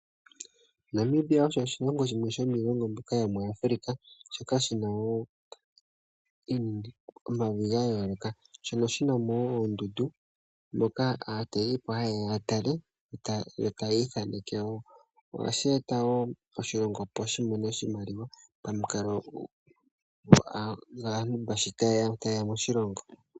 Namibia osho oshilongo shimwe shomiilongo mbyoka yomuAfrica, shoka shi na mo omavi ga yooloka , shono shi na mo wo oondundu ndhoka aatalelipo ha ye ya ya tale e ta ya ithaneke wo. Ohashi e ta wo oshilongo opo shi mone oshimaliwa pamukalo sho aantu ta ye ya moshilongo.